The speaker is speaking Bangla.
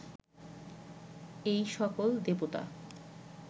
এই সকল দেবতা